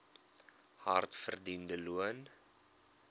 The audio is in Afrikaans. hard verdiende loon